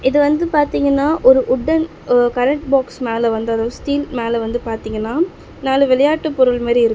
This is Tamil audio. இது வந்து பாத்தீங்கன்னா ஒரு உட்டன் அ கரண்ட் பாக்ஸ் மேல வந்து ஸ்டீல் ஒரு மேல வந்து பாத்தீங்கன்னா நாலு விளையாட்டு பொருள் மாரி இரு--